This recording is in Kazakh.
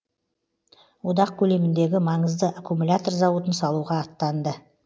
одақ көлеміндегі маңызды аккумлятор зауытын салуға аттанды